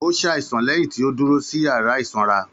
Ó ṣàìsàn lẹ́yìn tí ó dúró sí yàrá ìsanra.